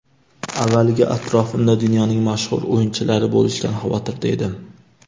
Avvaliga atrofimda dunyoning mashhur o‘yinchilari bo‘lishidan xavotirda edim.